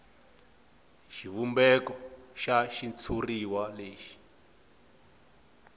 xivumbeko xa xitshuriwa lexi